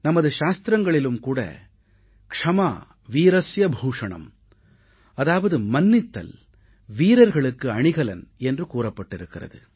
நமது சாத்திரங்களிலும் கூட क्षमा वीरस्य भूषणम அதாவது மன்னித்தல் வீரர்களுக்கு அணிகலன் என்று கூறப்பட்டிருக்கிறது